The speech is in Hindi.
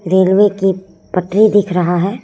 रेलवे की पटरी दिख रहा है।